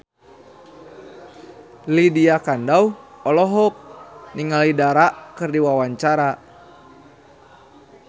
Lydia Kandou olohok ningali Dara keur diwawancara